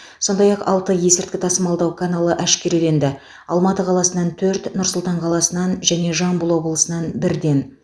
сондай ақ алты есірткі тасымалдау каналы әшкереленді алматы қаласынан төрт нұр сұлтан қаласынан және жамбыл облысынан бірден